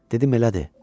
Dedim elədi.